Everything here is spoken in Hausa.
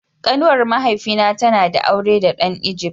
Kanuwar mahaifi na ta na da aure da dan "Egypt".